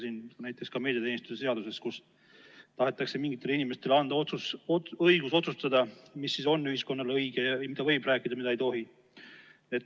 Siin on näiteks ka meediateenistuse seadus, kus tahetakse mingitele inimestele anda õigus otsustada, mis on ühiskonnale õige ning mida võib rääkida ja mida ei tohi.